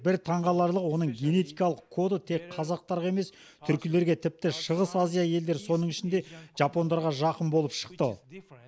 бір таңғаларлығы оның генетикалық коды тек қазақтарға емес түркілерге тіпті шығыс азия елдері соның ішінде жапондарға жақын болып шықты